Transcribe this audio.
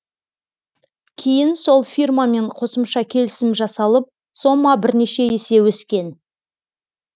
кейін сол фирмамен қосымша келісім жасалып сома бірнеше есе өскен